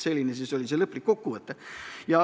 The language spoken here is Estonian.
Selline oli siis lõplik kokkuvõte.